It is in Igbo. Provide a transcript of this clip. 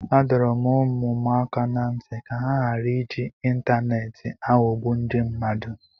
Adọrọ m ụmụ m aka ná ntị ka ha ghara iji ịntaneetị aghọgbu ndị mmadụ